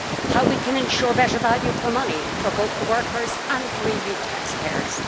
how we can ensure better value for money for both the workers and for EU taxpayers